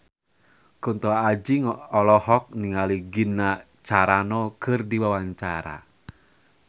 Kunto Aji olohok ningali Gina Carano keur diwawancara